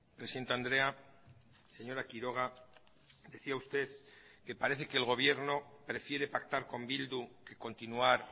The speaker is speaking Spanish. presidente andrea señora quiroga decía usted que parece que el gobierno prefiere pactar con bildu que continuar